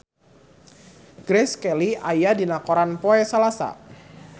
Grace Kelly aya dina koran poe Salasa